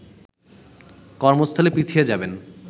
কর্মস্থলে পিছিয়ে যাবেন